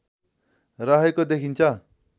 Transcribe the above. रहेको देखिन्छ